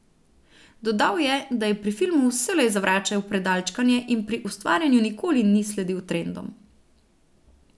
Dodal je, da je pri filmu vselej zavračal predalčkanje in pri ustvarjanju nikoli ni sledil trendom.